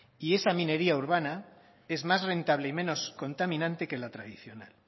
y esa minería urbana es más rentable y menos contaminante que la tradicional